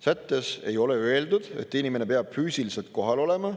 Sättes ei ole öeldud, et inimene peab füüsiliselt kohal olema.